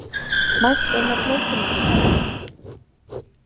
Mælt er með blóðþynnandi meðferð.